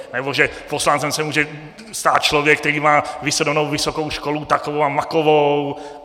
Nebo že poslancem se může stát člověk, který má vystudovanou vysokou školu takovou a makovou.